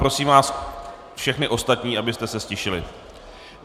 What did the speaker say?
Prosím vás všechny ostatní, aby se ztišili.